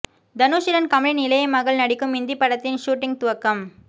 தனுஷுடன் கமலின் இளைய மகள் நடிக்கும் இந்தி படத்தின் ஷூட்டிங் துவக்கம்